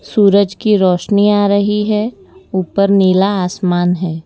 सूरज की रोशनी आ रही है ऊपर नीला आसमान है।